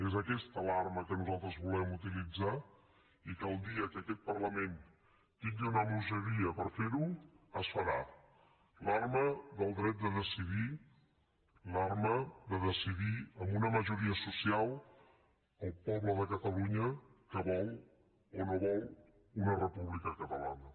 és aquesta l’arma que nosaltres volem utilitzar i que el dia que aquest parlament tingui una majoria per fer ho es farà l’arma del dret de decidir l’arma de decidir amb una majoria social el poble de catalunya que vol o no vol una república catalana